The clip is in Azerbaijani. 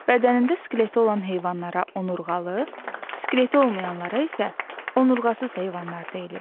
Bədənində skeleti olan heyvanlara onurğalı, skeleti olmayanlara isə onurğasız heyvanlar deyilir.